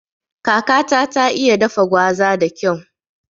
Kakata ta iya dafa gwaza da kyau